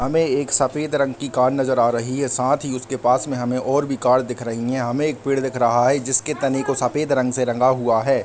हमें एक सफेद रंग की कार नजर आ रही है | साथ ही उसके पास में हमें और भी कार दिख रही हैं | हमें एक पेड़ दिख रहा है जिसके तने को सफेद रंग से रंगा हुआ है |